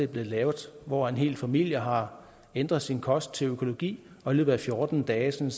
blevet lavet hvor en hel familie har ændret sin kost til økologi og i løbet af fjorten dage